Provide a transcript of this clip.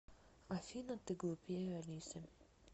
афина ты глупее алисы